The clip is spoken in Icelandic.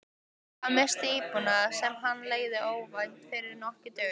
Hann missti íbúðina, sem hann leigði, óvænt fyrir nokkrum dögum.